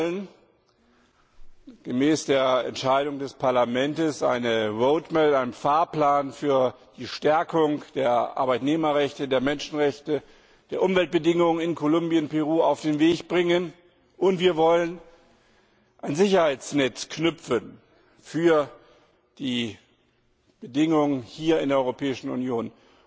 Wir wollen gemäß der Entscheidung des Parlaments eine Roadmap einen Fahrplan für die Stärkung der Arbeitnehmerrechte, der Menschenrechte, der Umweltbedingungen in Kolumbien und Peru auf den Weg bringen, und wir wollen ein Sicherheitsnetz knüpfen für die Bedingungen hier in der Europäischen Union.